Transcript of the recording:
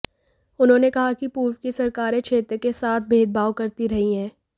उन्होंने कहा कि पूर्व की सरकारें क्षेत्र के साथ भेदभाव करती रहीं है